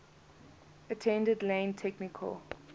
attended lane technical